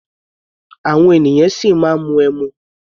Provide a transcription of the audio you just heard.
Àwọn ènìyàn ṣì máa ń mu ẹmu.